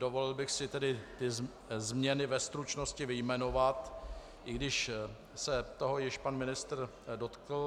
Dovolil bych si tedy ty změny ve stručnosti vyjmenovat, i když se toho již pan ministr dotkl.